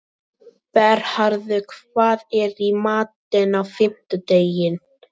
Bernharður, hvað er í matinn á fimmtudaginn?